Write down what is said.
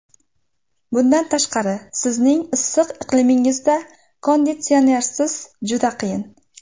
Bundan tashqari, sizning issiq iqlimingizda konditsionersiz juda qiyin.